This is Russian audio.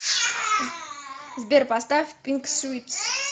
сбер поставь пинк свитс